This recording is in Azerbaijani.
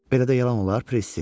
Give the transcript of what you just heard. Belə də yalan olar, Pressi.